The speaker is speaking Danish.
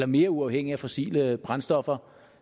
mere uafhængige af fossile brændstoffer